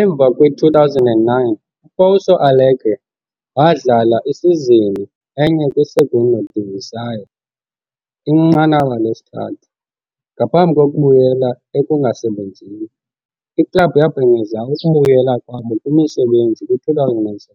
Emva kwi-2009, uPouso Alegre wadlala isizini enye kwi-Segunda Divisão, inqanaba lesithathu, ngaphambi kokubuyela ekungasebenzini. Iklabhu yabhengeza ukubuyela kwabo kwimisebenzi kwi-2017,